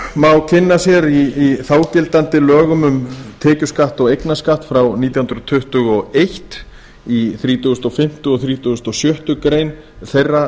má kynna sér í þágildandi lögum um tekjuskatt og eignarskatt frá nítján hundruð tuttugu og eitt í þrítugasta og fimmta og þrítugasta og sjöttu grein þeirra